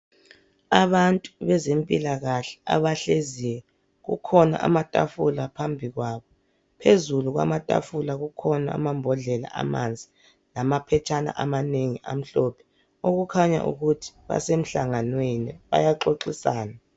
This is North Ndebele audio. Abantu bezempilakahle abahleziyo, kukhona amatafula phambi kwabo. Phezulu kwamatafula kukhona amambodlela amanzi lamaphetshana amanengi amhlophe, okukhanya ukuthi basemhlanganweni bayaxoxisana.